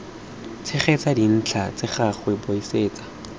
tshegetsa dintlha tsa gagwe buisetsa